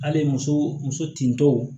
Hali muso muso tintɔw